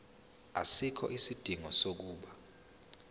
asikho isidingo sokuba